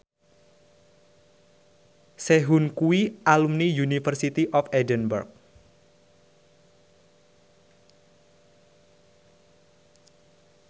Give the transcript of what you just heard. Sehun kuwi alumni University of Edinburgh